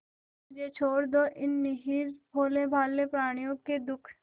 और मुझे छोड़ दो इन निरीह भोलेभाले प्रणियों के दुख